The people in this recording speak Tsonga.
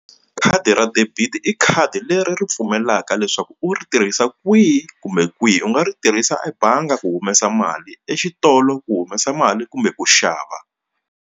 Khadi ra debit i khadi leri ri pfumelaka leswaku u ri tirhisa kwihi kumbe kwihi u nga ri tirhisa ebangi ku humesa mali exitolo ku humesa mali kumbe ku xava.